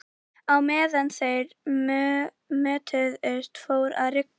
Á meðan þeir mötuðust fór að rigna.